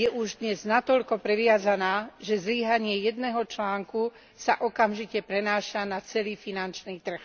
je už dnes natoľko previazaná, že zlyhanie jedného článku sa okamžite prenáša na celý finančný trh.